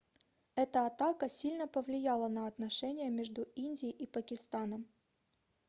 эта атака сильно повлияла на отношения между индией и пакистаном